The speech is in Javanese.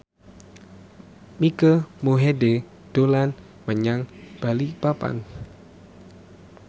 Mike Mohede dolan menyang Balikpapan